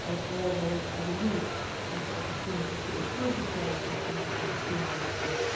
Overall there is, I believe, ample opportunity to improve the sharing of information between Member States.